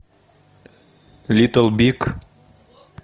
литл биг